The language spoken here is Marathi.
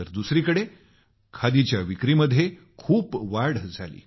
तर दुसरीकडे खादीच्या विक्रीमध्ये खूप वाढ झाली